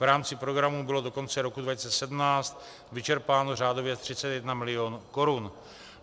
V rámci programu bylo do konce roku 2017 vyčerpáno řádově 31 mil. korun.